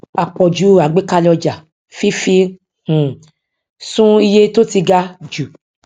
àpòjù àgbékalè ọjà fífi um sun iye tó ti ga jù